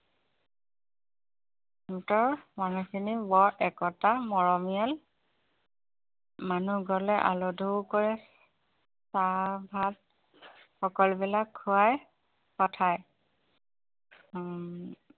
সিহঁতৰ মানুহখিনি বৰ একতা মৰমীয়াল মানুহ গলে কৰে চাহ ভাত সকলোবিলাক খুৱাই পঠায় উম